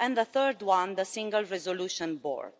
and the Single Resolution Board.